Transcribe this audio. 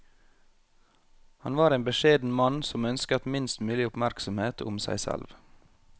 Han var en beskjeden mann som ønsket minst mulig oppmerksomhet om seg selv.